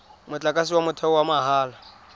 motlakase wa motheo wa mahala